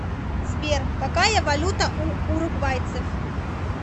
сбер какая валюта у уругвайцев